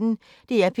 DR P1